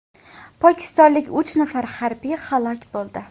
Pokistonlik uch nafar harbiy halok bo‘ldi.